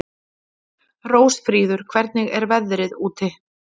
Rósfríður, hvernig er veðrið úti?